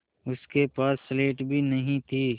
उसके पास स्लेट भी नहीं थी